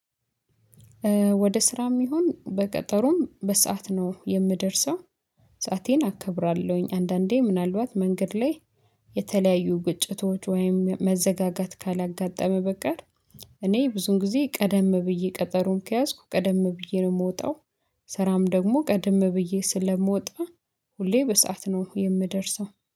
ወደ ስራም ይሁን በቀጠሮም በሰአት ነው የምደርሰው፤። ሰአቴን አከብራለሁኝ፤ አንዳንዴ ምናልባት መንገድ ላይ የተለያዩ ጉጭቶች ወይም መዘጋጋት ካላጋጠመ በቀር እኔ ብዙን ጊዜ ቀደም ብዬ ቀጠሮም ከያዝኩ ቀደም ብዬ ነው የምወጣው። ስራም ደግሞ ቀድም ብዬ ስለምወጣ ሁሌ በሰአት ነው የምደርሰው፤።